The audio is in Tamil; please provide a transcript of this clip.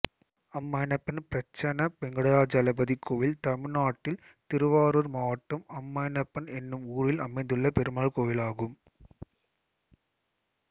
அம்மைணப்பன் பிரசன்ன வெங்கிடாஜலபதி கோயில் தமிழ்நாட்டில் திருவாரூர் மாவட்டம் அம்மைணப்பன் என்னும் ஊரில் அமைந்துள்ள பெருமாள் கோயிலாகும்